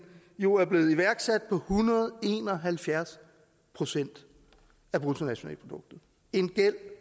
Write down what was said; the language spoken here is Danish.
nu er blevet iværksat på hundrede og en og halvfjerds procent af bruttonationalproduktet en gæld